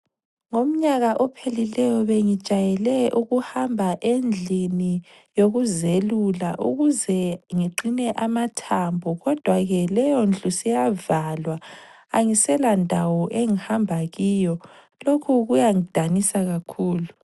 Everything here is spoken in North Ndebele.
Umnyaka ophelileyo bengijayele ukuhamba endlini yokuzelula, ukuze ngiqine amathambo. Kodwa ke leyo indlu seyavalwa ,angisela ndawo engihamba kiyo lokhu kuyangidanisa kakhulu.